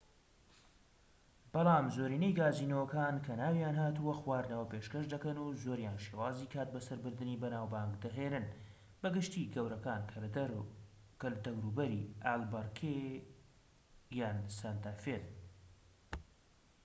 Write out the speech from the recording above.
بەلام زۆرینەی گازینۆکان کە ناویان هاتووە خواردنەوە پێشکەش دەکەن و زۆریان شێوازی کاتبەسەربردنی بەناوبانگ دەهێنن بە گشتی گەورەکان کە لە دەوروبەری ئالبەکەرکی یان سانتا فێن